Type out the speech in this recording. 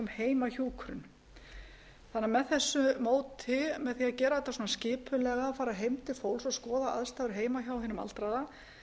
heimahjúkrun með því að gera þetta svona skipulega fara heim til fólks og skoða aðstæður heima hjá hinum aldraða